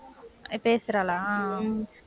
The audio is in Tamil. பேசறாளா